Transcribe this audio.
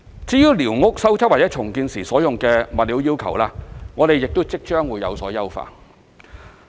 至於寮屋修葺或重建時所用的物料要求，我們亦即將有所優化。